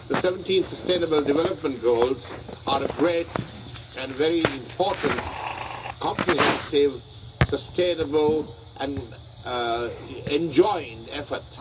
The 17 sustainable development goals are a great and very important comprehensive, sustainable and enjoined effort.